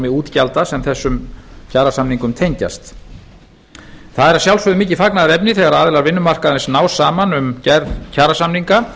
útgjalda sem þessum kjarasamningum tengjast það er að sjálfsögðu mikið fagnaðarefni þegar aðilar vinnumarkaðarins ná saman um gerð kjarasamninga